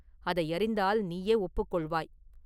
அதை அறிந்தால் நீயே ஒப்புக் கொள்வாய்.